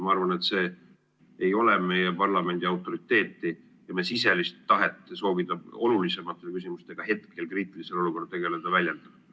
Ma arvan, et see ei väljenda meie parlamendi autoriteeti ja sisemist tahet soovida hetkel kriitilises olukorras tegeleda olulisemate küsimustega.